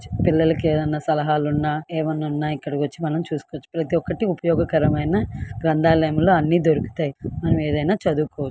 పిల్లలకి ఏదైనా సలహాలు ఉన్న ఏవైనా ఉన్న ఇక్కడకి వచ్చి చూసుకోవచ్చు. ప్రతి ఒక్కటి ఉపయోగమైన గ్రంధాలయములో అన్ని దొరుకుతాయి. మనం ఏమైనా చదువుకోవచ్చు.